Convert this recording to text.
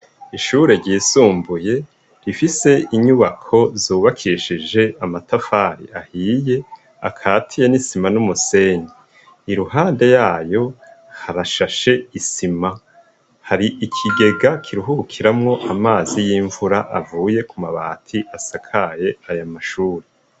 Ishure ryisumbuye rifise inyubako zubakishije amatafari ahiye ikaziye nisima numusenyi iruhande harashashe Isima hari ikigega kuruhukiramwo amazi yimvura avuye kumabati yayo mashure.